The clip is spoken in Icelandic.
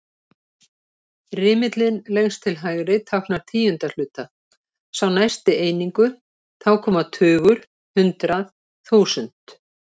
Rimillinn lengst til hægri táknar tíundu hluta, sá næsti einingu, þá koma tugur, hundrað, þúsund.